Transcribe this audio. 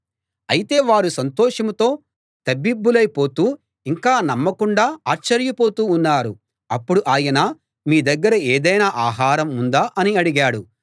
అయితే వారు సంతోషంతో తబ్బిబ్బులై పోతూ ఇంకా నమ్మకుండా ఆశ్చర్యపోతూ ఉన్నారు అప్పుడు ఆయన మీ దగ్గర ఏదైనా ఆహారం ఉందా అని అడిగాడు